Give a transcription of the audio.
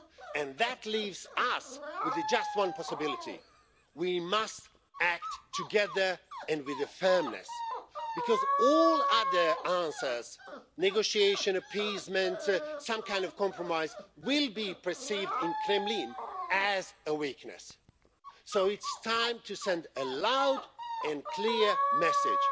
And that leaves us with the just one possibility we must act together and with firmness, because all other answers negotiation appeasement, some kind of compromise will be perceived in the Kremlin as a weakness. So it is time to send a loud and clear message